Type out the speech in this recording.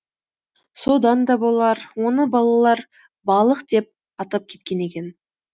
содан да болар оны балалар балық деп атап кеткен екен